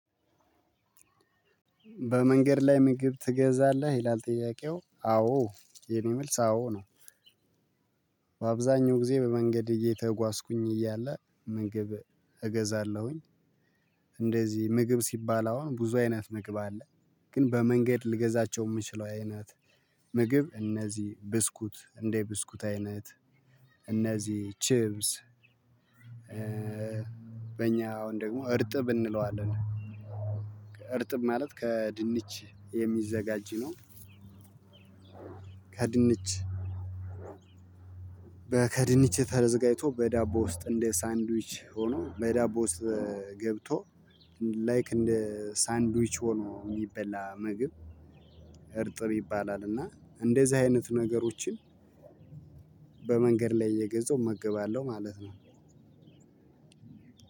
በመንገድ ላይ ምግብ ትገዛለህ ይላል ጥያቄው አዎ የኔ መልስ አዎ ነው። በአብዛኛው ጊዜ በመንገድ እየተጓዝኩኝ እያለ ምግብ እገዛለሁኝ። እንደዚህ ምግብ ሲባል አሁን ብዙ አይነት ምግብ አለ። ግን በመንገድ ልገዛቸው የምችለው አይነት ምግብ እነዚህ ብስኩት እንደ ብስኩት አይነት እነዚህ ቺብስ። በእኛ አሁን ደግሞ እርጥብ እንለዋለን። እርጥብ ማለት ከድንች የሚዘጋጅ ነው። ከድንች ድንች ከድንች ተዘጋጅቶ በዳቦ ውስጥ እንደ ሳንድዊች ሆኖ በዳቦ ውስጥ ገብቶ ላይክ እንደ ሳንድዊች ሆኖ የሚበላ ምግብ። እርጥብ ይባላል። እና እንደዚህ አይነት ነገሮችን በመንገድ ላይ እየገዛው እመገባለሁ ማለት ነው።